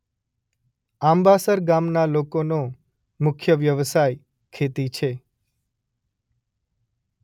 આંબાસર ગામના લોકોનો મુખ્ય વ્યવસાય ખેતી છે.